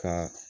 Ka